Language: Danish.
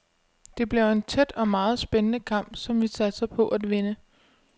Det bliver en tæt og meget spændende kamp, som vi satser på at vinde.